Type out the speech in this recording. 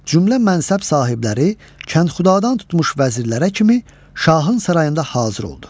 Cümlə mənsəb sahibləri kəndxudadan tutmuş vəzirlərə kimi şahın sarayında hazır oldu.